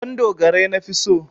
Ɗandogarai nafi so.